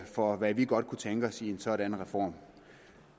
for hvad vi godt kunne tænke os i en sådan reform